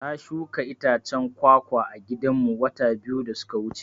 Na shuka itacen kwa-kwa a gidan mu wata biyu da suka wuce